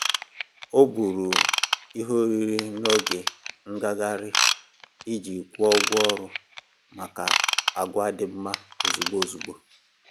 O buuru ihe oriri n'oge ngaghari iji kwụọ ụgwọ ọrụ maka agwà dí mma ozugbo ozugbo